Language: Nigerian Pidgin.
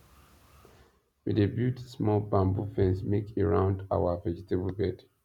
we dey build small bamboo fence make e round our vegetable bed